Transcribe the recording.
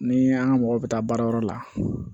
Ni an ka mɔgɔ bɛ taa baarayɔrɔ la